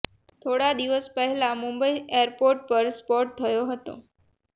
થોડા દિવસ પહેલા મુંબઈ એરપોર્ટ પર સ્પોટ થયો હતો